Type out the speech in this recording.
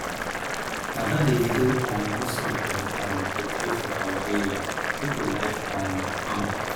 na that davido um new song dem um dey play for our area people like um am